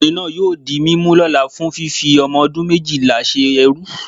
okunrin naa yóò dí mimú lola fún fífí omodún mejíla sé ẹrú